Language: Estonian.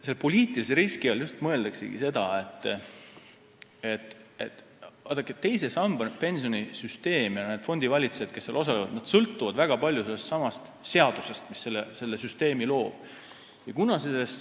Selle poliitilise riski all mõeldaksegi seda, et pensionisüsteemi teine sammas ja need fondivalitsejad, kes seal osalevad, sõltuvad väga palju sellestsamast seadusest, mis selle süsteemi loob.